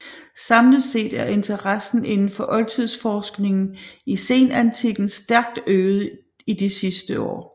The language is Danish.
Samlet set er interessen inden for oldtidsforskningen i senantikken stærkt øget i de sidste år